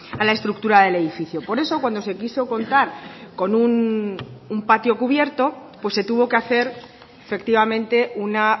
a la estructura del edificio por eso cuando se quiso contar con un patio cubierto pues se tuvo que hacer efectivamente una